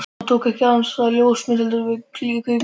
Hann tók ekki aðeins af henni ljósmyndir, heldur líka kvikmyndir.